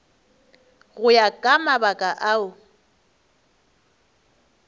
go ya ka mabaka ao